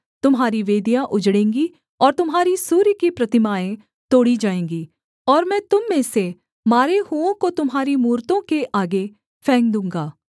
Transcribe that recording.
तुम्हारी वेदियाँ उजड़ेंगी और तुम्हारी सूर्य की प्रतिमाएँ तोड़ी जाएँगी और मैं तुम में से मारे हुओं को तुम्हारी मूरतों के आगे फेंक दूँगा